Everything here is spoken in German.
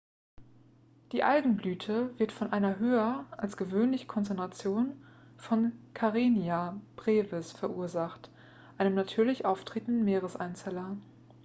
die algenblüte wird von einer höher als gewöhnlichen konzentration von karenia brevis verursacht einem natürlich auftretenden meereseinzeller